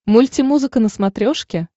мульти музыка на смотрешке